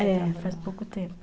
É, faz pouco tempo.